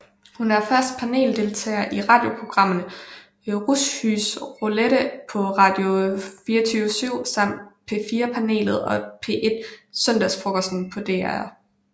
Hun er fast paneldeltager i radioprogrammerne Rushys Roulette på Radio24syv samt P4 Panelet og P1 Søndagsfrokosten på DR